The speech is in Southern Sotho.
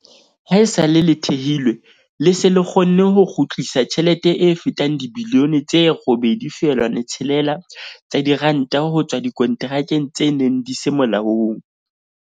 Haesale le thehilwe, le se le kgonne ho kgutlisa tjhelete e fetang dibilione tse 8.6 tsa diranta ho tswa dikonterakeng tse neng di se molaong.